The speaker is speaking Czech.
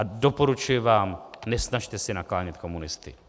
A doporučuji vám, nesnažte se naklánět komunisty.